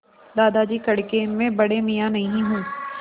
दादाजी कड़के मैं बड़े मियाँ नहीं हूँ